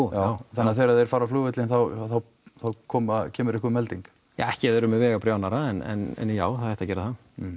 já þannig að þegar þeir fara á flugvöllinn þá koma kemur einhver melding ja ekki ef þeir eru með vegabréf annarra en já það ætti að gera það